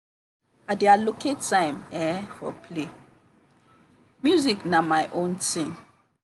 i dey allocate time um for play music na my own thing.